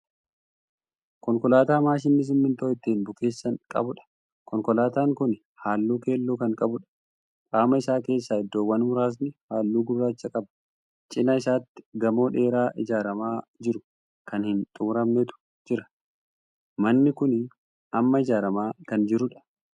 Konkolaataa maashinii simintoo ittiin bukeessan qabudha. konkolaataan Kuni halluu keelloo Kan qabuudha. qaama Isaa keessaa iddoowwan muraasni halluu gurraacha qaba. cinaa isaatti gamoo dheeraa ijaaramaa jiru Kan hin xumuramnetu jira. manni Kuni Amma ijaaramaa Kan jiruudha.